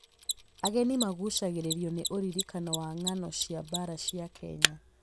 Ageni maguucagĩrĩrio nĩ ũririkanio wa ngano cia mbaara cia Kenya.